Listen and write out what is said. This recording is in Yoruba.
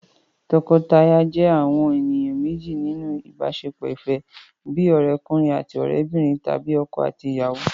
Tọkọtaya jẹ́ àwọn ènìyàn méjì nínú ìbáṣepọ̀ ìfẹ́, bíi ọ̀rẹ́'kùnrin àti òrẹ́'bìnrin tàbí ọkọ àti ìyàwó